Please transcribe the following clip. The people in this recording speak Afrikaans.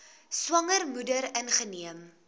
swanger moeder ingeneem